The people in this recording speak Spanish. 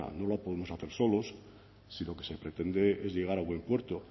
no la podemos hacer solos si lo que se pretende es llegar a buen puerto